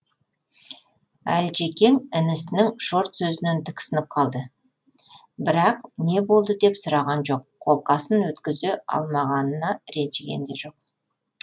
әлжекең інісінің шорт сөзінен тіксініп қалды бірақ не болды деп сұраған жоқ қолқасын өткізе алмағанына ренжіген де жоқ